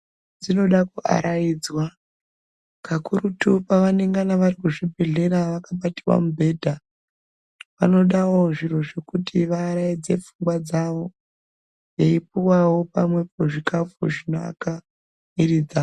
Ndumure dzinoda kuaraidzwa kakurutu kwavanenge variku zvibhedhlera vakabatwa mubhedha vanodawo zviro zvekuti vavaraidze pfungwa dzavo veipuwawo pamwepo zvikafu zvinovaka muviri dzavo.